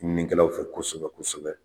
Ɲininkɛlaw fɛ kosɛbɛ kosɛbɛ